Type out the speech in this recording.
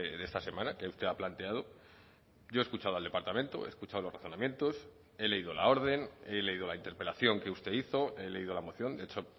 de esta semana que usted ha planteado yo he escuchado al departamento he escuchado los razonamientos he leído la orden he leído la interpelación que usted hizo he leído la moción de hecho